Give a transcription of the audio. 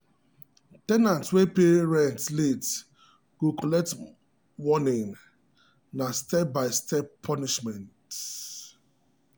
ten ant wey pay rent late go collect collect warning na step-by-step punishment.